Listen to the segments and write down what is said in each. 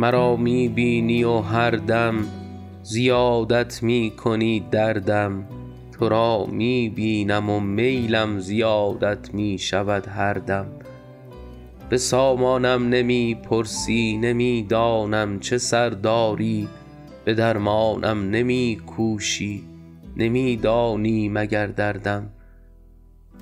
مرا می بینی و هر دم زیادت می کنی دردم تو را می بینم و میلم زیادت می شود هر دم به سامانم نمی پرسی نمی دانم چه سر داری به درمانم نمی کوشی نمی دانی مگر دردم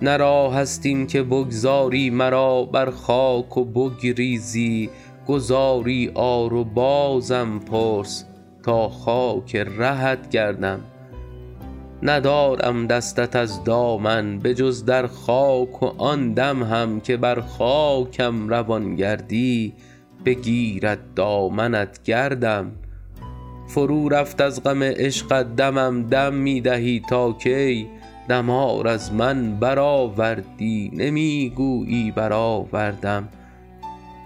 نه راه است این که بگذاری مرا بر خاک و بگریزی گذاری آر و بازم پرس تا خاک رهت گردم ندارم دستت از دامن به جز در خاک و آن دم هم که بر خاکم روان گردی بگیرد دامنت گردم فرو رفت از غم عشقت دمم دم می دهی تا کی دمار از من برآوردی نمی گویی برآوردم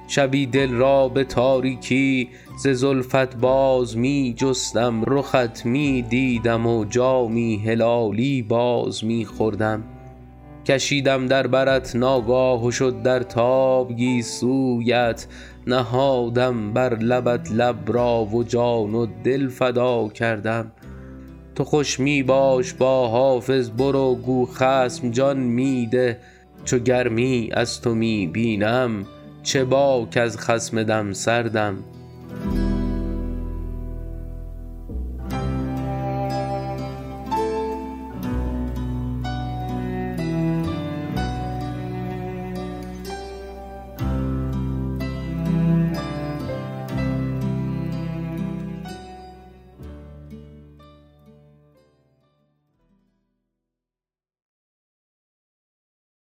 شبی دل را به تاریکی ز زلفت باز می جستم رخت می دیدم و جامی هلالی باز می خوردم کشیدم در برت ناگاه و شد در تاب گیسویت نهادم بر لبت لب را و جان و دل فدا کردم تو خوش می باش با حافظ برو گو خصم جان می ده چو گرمی از تو می بینم چه باک از خصم دم سردم